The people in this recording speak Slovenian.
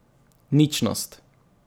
Ničnost.